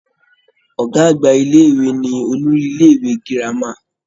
Ọ̀gá àgbà ilé-ìwé ni olórí ilé-ìwé girama